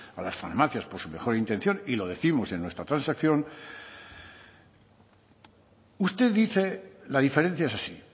a las farmacias por su mejor intención y lo décimos en nuestra transacción usted dice la diferencia es así